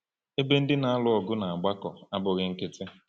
Ebe ndị na-alụ ọgụ na-agbakọ abụghị nkịtị.